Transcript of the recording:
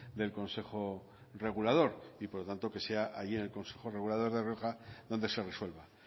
del consejo regulador y por lo tanto que sea allí en el consejo regulador de rioja donde se resuelva